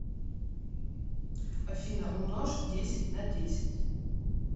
афина умножь десять на десять